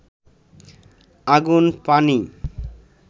আগুন, পানি